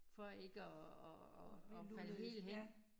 For ikke og og og og falde helt hen